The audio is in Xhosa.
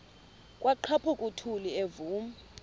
kwaqhaphuk uthuli evuma